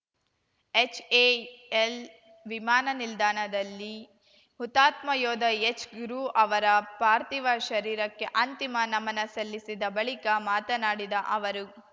HAL ವಿಮಾನ ನಿಲ್ದಾಣದಲ್ಲಿ ಹುತಾತ್ಮ ಯೋಧ ಎಚ್‌ ಗುರು ಅವರ ಪಾರ್ಥಿವ ಶರೀರಕ್ಕೆ ಅಂತಿಮ ನಮನ ಸಲ್ಲಿಸಿದ ಬಳಿಕ ಮಾತನಾಡಿದ ಅವರು